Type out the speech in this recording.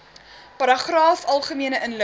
paragraaf algemene inligting